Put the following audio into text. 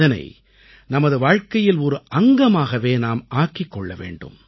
இதனை நமது வாழ்க்கையில் ஒரு அங்கமாகவே நாம் ஆக்கிக் கொள்ள வேண்டும்